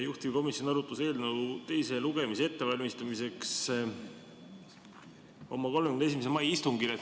Juhtivkomisjon arutas eelnõu teiseks lugemiseks ette valmistades oma 31. mai istungil.